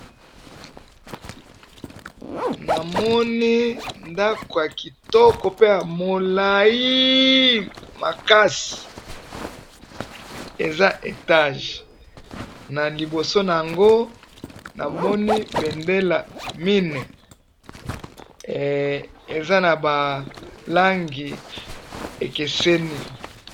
na moni ndaku ya kitoko pe ya molayi makasi eza etage na liboso nango na moni bendela mine eza na ba langi ekeseni